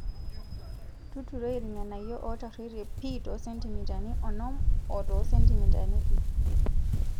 Tuturoi irng'anayio ootarruoitie pii too sentimitani onom o too sentimitani ip.